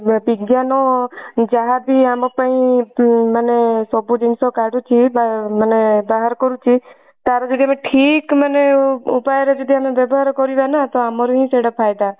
ବିଜ୍ଞାନ ଯାହା ବି ଆମ ପାଇଁ ମାନେ ସବୁ ଜିନିଷ କାଢୁଛି ମାନେ ବାହାର କରୁଛି ତାହାର ଯଦି ଆମେ ଠିକ ମାନେ ଉପାୟ ରେ ଯଦି ଆମେ ବ୍ୟବହାର କରିବା ନା ତ ଆମର ହିଁ ସେଇଟା ଫାଇଦା।